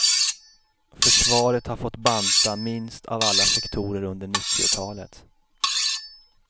Försvaret har fått banta minst av alla sektorer under nittiotalet.